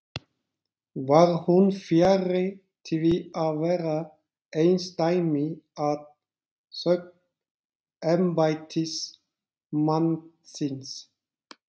Var hún fjarri því að vera einsdæmi að sögn embættismannsins.